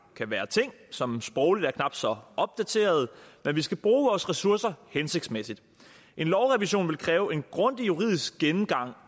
kan være ting som sprogligt er knap så opdaterede men vi skal bruge vores ressourcer hensigtsmæssigt en lovrevision ville kræve en grundig juridisk gennemgang